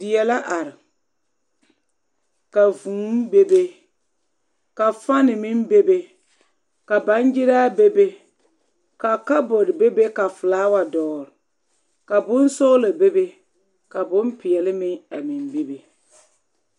Die la are ka vūū bebe ka fani meŋ bebe ka baŋgyiraa bebe ka kabɔɔte bebe ka felaawa dɔgele ka bonsɔgelɔ bebe ka bompeɛle meŋ a meŋ bebe.